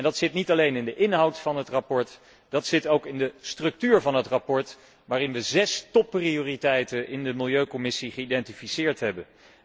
Dat zit niet alleen in de inhoud van het verslag, dat zit ook in de structuur van het verslag, waarin we zes topprioriteiten in de Milieucommissie vastgesteld hebben.